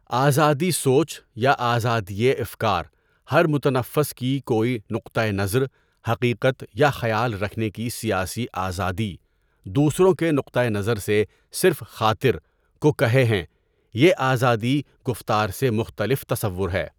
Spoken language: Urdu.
آزادی سوچ یا آزادیِٔ افکار ہر متنفس کی کوئی نقطۂ نظر، حقیقت یا خیال رکھنے کی سیاسی آزادی، دوسروں کے نقطۂ نظر سے صرف خاطر، کو کہے ہیں یہ آزادی گفتار سے مختلف تصور ہے.